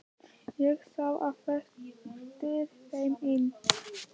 Ég sá á eftir þeim inn.